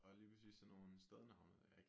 Og lige præcis sådan nogle stednavne ik